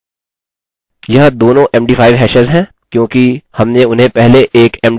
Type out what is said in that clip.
यह दोनों md5 hashes हैं क्योंकि हमने उन्हें पहले एक md5 hash में परिवर्तित किया हुआ है